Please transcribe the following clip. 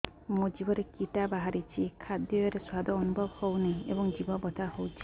ମୋ ଜିଭରେ କିଟା ବାହାରିଛି ଖାଦ୍ଯୟରେ ସ୍ୱାଦ ଅନୁଭବ ହଉନାହିଁ ଏବଂ ଜିଭ ବଥା ହଉଛି